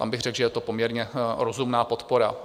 Tam bych řekl, že je to poměrně rozumná podpora.